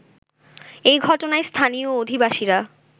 এ ঘটনায় স্থানীয় অধিবাসীরা